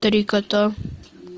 три кота